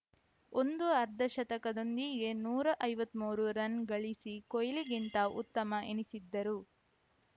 ಒಂದು ಅರ್ಧಶತಕದೊಂದಿಗೆ ನೂರ ಐವತ್ತ್ ಮೂರು ರನ್‌ ಗಳಿಸಿ ಕೊಹ್ಲಿಗಿಂತ ಉತ್ತಮ ಎನಿಸಿದ್ದರು